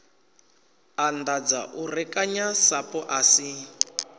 anḓadza u rekanya sapu asi